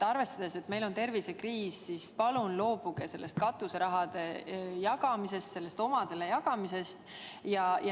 Arvestades, et meil on tervisekriis, palun loobuge sellest katuserahade jagamisest, sellest omadele jagamisest!